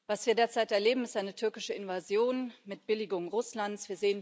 Was wir derzeit erleben, ist eine türkische Invasion mit Billigung Russlands.